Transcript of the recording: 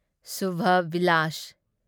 Subha Vilas